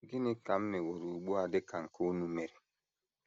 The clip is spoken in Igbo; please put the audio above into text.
Gịnị ka m meworo ugbu a dị ka nke unu mere?